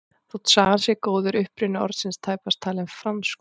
Þótt sagan sé góð er uppruni orðsins tæpast talinn franskur.